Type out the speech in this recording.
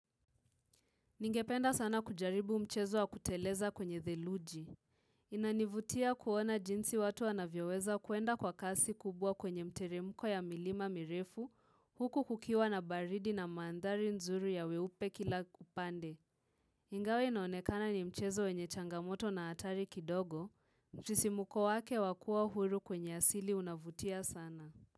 Ningependa sana kujaribu mchezo wa kuteleza kwenye theluji. Inanivutia kuona jinsi watu wanavyoweza kuenda kwa kasi kubwa kwenye mteremko ya milima mirefu huku kukiwa na baridi na mandhari nzuri ya weupe kila upande. Ingawa inaonekana ni mchezo wenye changamoto na hatari kidogo. Sisimko wake wa kuwa huru kwenye asili unavutia sana.